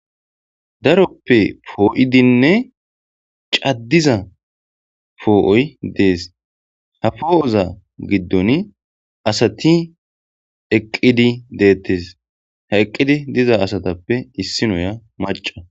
daroppe poo7idinne caddiza foo7oy dees ha foo7oza giddon asati eqqidi deettes ha eqqidi diza asatappe issi noya maca